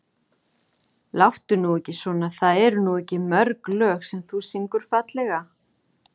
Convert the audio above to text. Láttu nú ekki svona það eru nú ekki mörg lög sem þú syngur fallega.